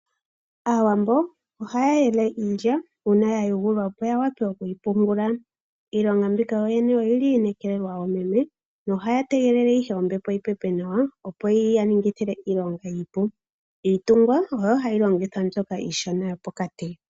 Aawambo ohaya yele iilya uuna yayungulwa opo ya wape okuyi pungula . Iilongo mbika oyili yi nekelelwa oomeme no ha tegele ihe ombepo yipepe nawa opo yi ya ningile iilonga iipu , Oontungwa odho hadhi longithwa iishona mbyoka yo pokati.